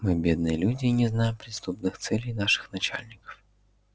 мы бедные люди и не знаем преступных целей наших начальников